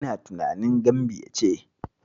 Ina tunanin Gambiya ce.